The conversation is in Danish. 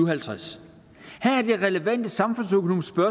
og halvtreds her er det relevante samfundsøkonomiske